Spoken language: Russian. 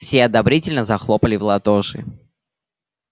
все одобрительно захлопали в ладоши